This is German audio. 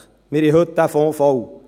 Heute haben wir diesen Fonds voll.